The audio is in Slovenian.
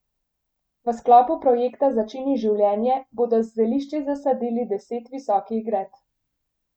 V sklopu projekta Začini življenje bodo z zelišči zasadili deset visokih gred.